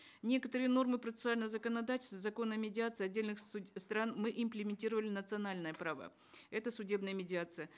некоторые нормы процессуального законодательства закона о медиации отдельных стран мы имплементировали национальное право это судебная медиация